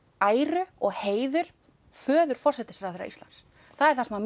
æru og heiður föður forsætisráðherra Íslands það er það sem